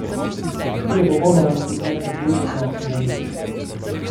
Ki je popolnoma in nepreklicno zanič.